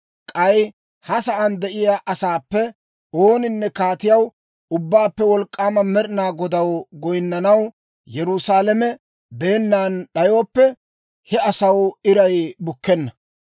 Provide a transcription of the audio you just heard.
K'ay ha sa'aan de'iyaa asaappe ooninne Kaatiyaw, Ubbaappe Wolk'k'aama Med'inaa Godaw goyinnanaw Yerusaalame beennan d'ayooppe, he asaw iray bukkenna.